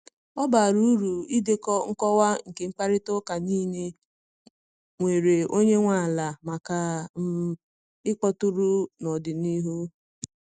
Ọ bara uru idekọ nkọwa nke mkparịta ụka niile nwere onye nwe ala maka um ịkpọtụrụ n’ọdịnihu.